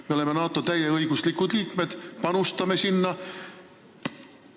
Me oleme NATO täieõiguslikud liikmed, panustame sinna.